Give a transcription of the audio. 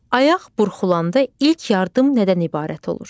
Ayaq burxulanda ilk yardım nədən ibarət olur?